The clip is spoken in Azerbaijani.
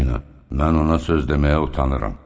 Əminə, mən ona söz deməyə utanıram.